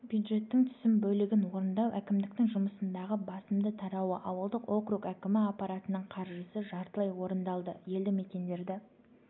бюджеттің түсім бөлігін орындау әкімдіктің жұмысындағы басымды тарауы ауылдық округ әкімі аппаратының қарыжысы жартылай орындалды елді-мекендерді